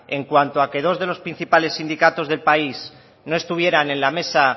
en cuanto a que dos de los principales sindicatos del país no estuvieran en la mesa